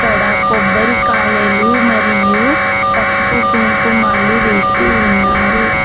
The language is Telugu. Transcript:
ఇక్కడ కొబ్బరికాయలు మరియు పసుపు కుంకుమలు వేస్తూ ఉన్నారు